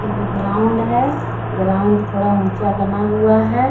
एको ground है ground थोड़ा ऊंचा बना हुआ है ।